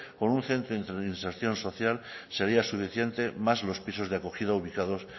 con un centro de reinserción social sería suficiente más los pisos de acogida ubicados